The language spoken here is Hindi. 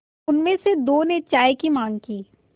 उनमें से दो ने चाय की माँग की